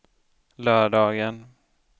lördagen